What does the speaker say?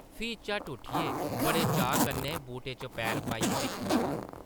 फ्ही झट्ट उट्ठियै बड़े चाऽ कन्नै बूटा च पैर पाइयै दिक्खन लगा ।